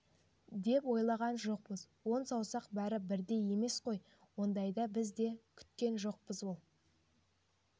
деп ойлаған жоқпыз он саусақ бәрі бірдей емес қой ондайды біз де күткен жоқпыз ол